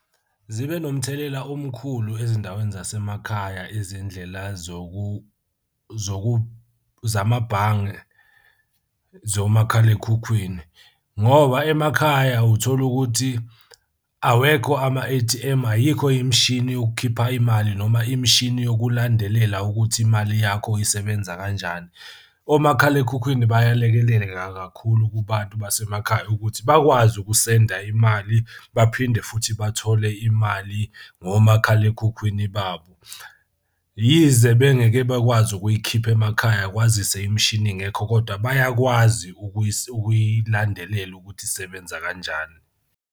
Zibe nomthelela omkhulu ezindaweni zasemakhaya izindlela zamabhange zomakhalekhukhwini ngoba emakhaya uthola ukuthi awekho ama-A_T_M, ayikho imishini yokukhipha imali noma imishini yokulandelela ukuthi imali yakho isebenza kanjani. Omakhalekhukhwini bayalekelela kakhulu kubantu basemakhaya ukuthi bakwazi ukusenda imali baphinde futhi bathole imali ngomakhalekhukhwini babo. Yize bengeke bakwazi ukuyikhipha emakhaya, kwazise imishini ingekho, kodwa bayakwazi ukuyilandelela ukuthi isebenza kanjani.